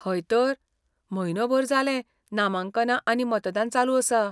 हय तर, म्हयनोभर जालें नामांकनां आनी मतदान चालू आसा.